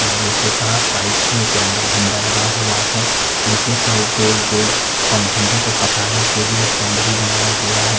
लोहे का पाइप में तिरंगा झंडा लगा हुआ है निचे साइड गोल-गोल पन झंडे को फसाने के लिए स्टेंड भी बनाया गया है।